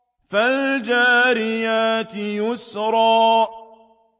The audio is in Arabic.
فَالْجَارِيَاتِ يُسْرًا